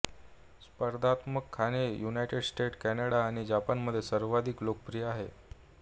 स्पर्धात्मक खाणे United States Canada आणि जपानमध्ये सर्वाधिक लोकप्रिय आहे